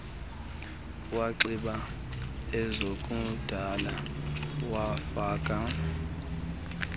wanxiba ezokudada wafaka